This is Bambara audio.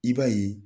I b'a ye